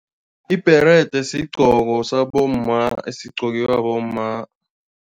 Ibherede sigqoko sabomma esigqokiwa bomma.